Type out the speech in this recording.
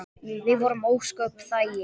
Við vorum ósköp þægir.